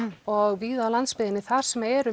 og víða á landsbyggðinni þar sem eru